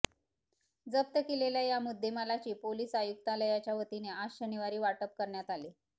जप्त केलेल्या या मुद्देमालाची पोलीस आयुक्तालयाच्या वतीने आज शनिवारी वाटप करण्यात आले